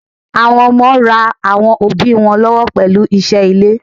Àwọn ọmọ ń ra àwọn òbí wọn lọ́wọ́ pẹ̀lú iṣẹ́ ilé.